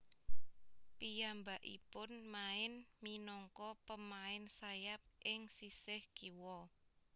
Piyambakipun main minangka pemain sayap ing sisih kiwa